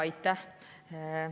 Aitäh!